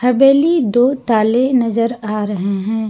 हवेली दो ताले नजर आ रहे हैं।